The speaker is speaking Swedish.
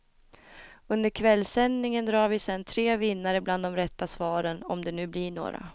Under kvällssändningen drar vi sen tre vinnare bland de rätta svaren, om det nu blir några.